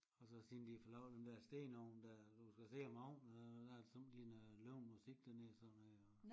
Og så siden de fået lavet den der stenovn der du skal se om aftenen der er sommetider noget levende musik dernede og sådan noget